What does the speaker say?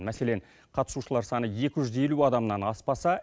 мәселен қатысушылар саны екі жүз елу адамнан аспаса